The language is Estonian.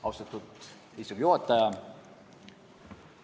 Austatud istungi juhataja!